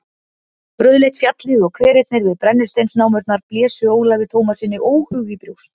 Rauðleitt fjallið og hverirnir við brennisteinsnámurnar blésu Ólafi Tómassyni óhug í brjóst.